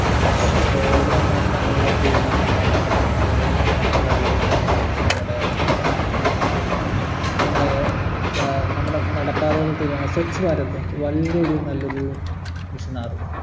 road നന്നാക്കാനുള്ള തീരുമാനങ്ങൾ നമ്മടെ വെള്ളം നന്നാക്കാനുള്ള തീരുമാനങ്ങൾ നമ്മുടെ നമ്മുടെ നമ്മുടെ നടപാതകൾ വല്യൊരു നല്ലൊരു mission ആയിരുന്നു